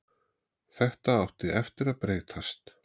Þetta átti eftir að breytast.